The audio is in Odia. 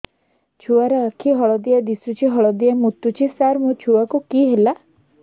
ଛୁଆ ର ଆଖି ହଳଦିଆ ଦିଶୁଛି ହଳଦିଆ ମୁତୁଛି ସାର ମୋ ଛୁଆକୁ କି ହେଲା